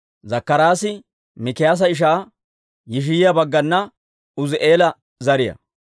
Zakkaraasi Mikiyaasa ishaa Yishiyaa baggana Uuzi'eela zariyaa.